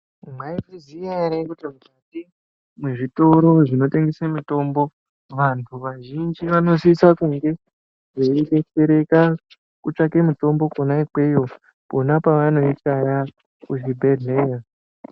Mwaizviziya ere kuti mukati mwezvitoro zvinotengese mitombo vanhu vazhinji vanosise kunge veidetsereka kutsvake mitombo kwona ikweyo pona pevanoishaya kuzvibhedhlera.